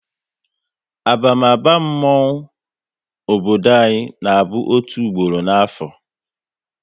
Abamaba mmonwu obodo anyị na bụ otu gboro n'afo